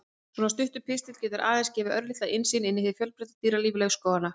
Svona stuttur pistill getur aðeins gefið örlitla innsýn inn í hið fjölbreytta dýralíf laufskóganna.